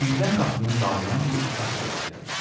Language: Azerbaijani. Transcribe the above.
Birdən qapının dalından bir uşaq səsi gəldi.